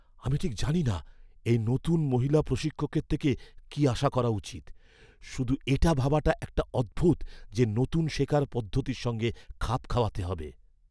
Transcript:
আমি ঠিক জানিনা এই নতুন মহিলা প্রশিক্ষকের থেকে কী আশা করা উচিত। শুধু এটা ভাবাটা একটু অদ্ভুত যে নতুন শেখার পদ্ধতির সঙ্গে খাপ খাওয়াতে হবে!